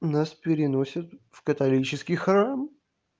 нас переносят в католический храм